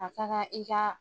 A ka kan i ka